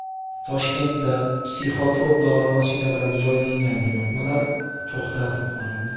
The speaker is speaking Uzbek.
Toshkentda psixotrop dori vositalari joylangan jo‘natmalar to‘xtatib qolindi.